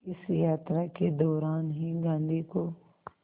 इस यात्रा के दौरान ही गांधी को